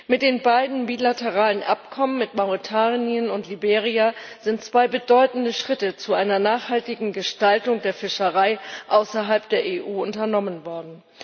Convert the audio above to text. Mit den beiden bilateralen Abkommen mit Mauretanien und Liberia sind zwei bedeutende Schritte zu einer nachhaltigen Gestaltung der Fischerei außerhalb der EU unternommen worden.